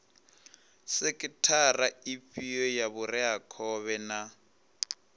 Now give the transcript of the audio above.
sekhithara ifhio ya vhureakhovhe na